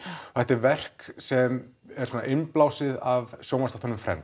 þetta er verk sem er svona innblásið af sjónvarpsþáttunum